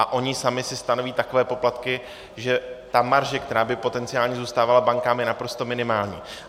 A oni sami si stanoví takové poplatky, že ta marže, která by potenciálně zůstávala bankám, je naprosto minimální.